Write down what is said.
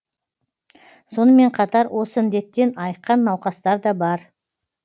сонымен қатар осы індеттен айыққан науқастар да бар